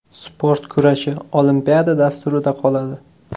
Sport kurashi Olimpiada dasturida qoladi.